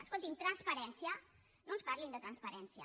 escoltin transparència no ens parlin de transparència